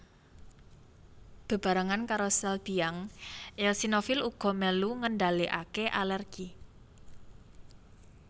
Bebarengan karo sel biang eosinofil uga mèlu ngendhalèkaké alèrgi